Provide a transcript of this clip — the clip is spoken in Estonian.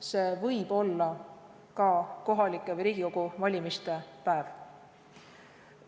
See võib olla ka kohalike omavalitsuste või Riigikogu valimiste päev.